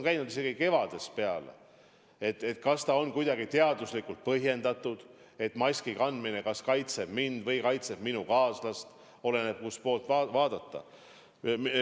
Juba kevadest peale käib debatt, kas on kuidagi teaduslikult tõestatud, et maski kandmine kaitseb mind või kaitseb minu kaaslast – oleneb, kust poolt vaadata.